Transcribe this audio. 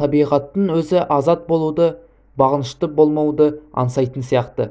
табиғаттың өзі азат болуды бағынышты болмауды аңсайтын сияқты